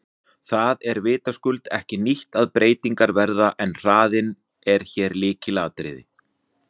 Það er vitaskuld ekki nýtt að breytingar verði en hraðinn er hér lykilatriði.